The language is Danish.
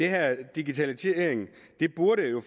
her digitalisering